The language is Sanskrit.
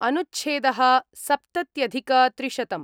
अनुच्छेद: सप्तत्यधिकत्रिशतं